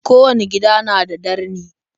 Kowanne gida na da darni.